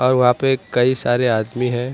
और वहां पे कई सारे आदमी हैं।